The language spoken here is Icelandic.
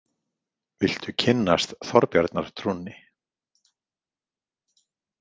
Viltu kynnast Þorbjarnartrúnni?